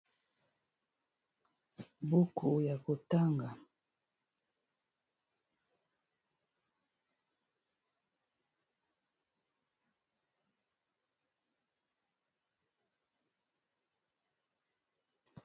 Buku ya kotanga, buku yako tanga.